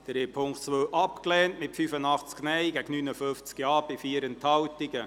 Sie haben die Ziffer 2 abgelehnt, mit 85 Nein- gegen 59 Ja-Stimmen bei 4 Enthaltungen.